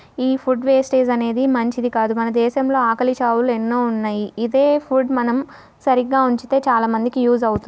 ఈ food wastage అనేది మంచిది కాదు. మన దేశంలో ఆకలి చావులు ఎన్నో ఉన్నాయి. ఇదే ఫుడ్ మనం సరిగ్గా ఉంచితే చాలా మందికి యూస్ అవుతుంది.